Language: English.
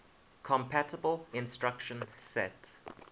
compatible instruction set